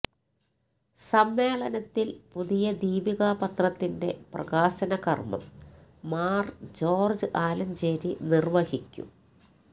സമ്മേളനത്തില് പുതിയ ദീപികപത്രത്തിന്റെ പ്രകാശനകര്മ്മം മാര് ജോര്ജ് ആലഞ്ചേരി നിര്വഹിക്കും